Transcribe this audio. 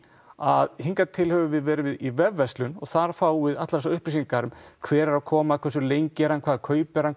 að hingað til höfum við verið í vefverslun og þar fáum við allar þessar upplýsingar um hver er að koma hversu lengi er hann hvað kaupir hann